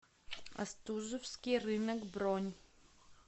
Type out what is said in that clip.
остужевский рынок бронь